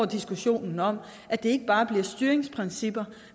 diskussionen om at det ikke bare bliver styringsprincipper